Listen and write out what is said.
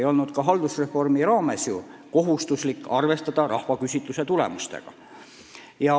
Ei olnud ka haldusreformi raames kohustuslik arvestada rahvaküsitluse tulemustega.